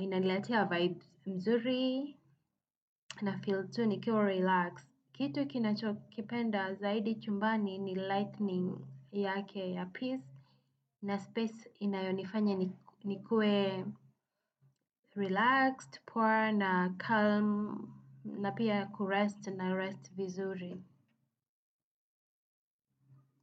Inaniletea vibes nzuri na feell tu nikiwa relax. Kitu kinachokipenda zaidi chumbani ni lightning yake ya peace. Na space inayonifanya nikue relaxed, poor na calm na pia kurest narest vizuri.